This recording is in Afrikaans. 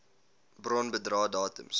bron bedrae datums